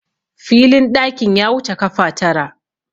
filin ɗakin ya wuce kafa Tara